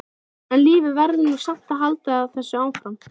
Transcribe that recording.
En lífið verður nú samt að halda áfram, manstu!